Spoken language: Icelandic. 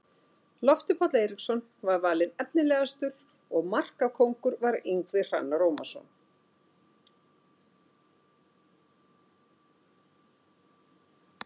Loftur Páll Eiríksson var valinn efnilegastur og markakóngur var Ingvi Hrannar Ómarsson.